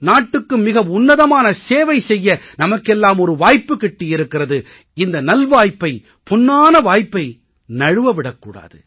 நாட்டுக்கு மிக உன்னதமான சேவை செய்ய நமக்கெல்லாம் ஒரு வாய்ப்பு கிட்டியிருக்கிறது இந்த நல்வாய்ப்பை பொன்னான வாய்ப்பை நழுவ விடக் கூடாது